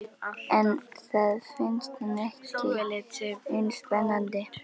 En það finnst henni ekki eins spennandi.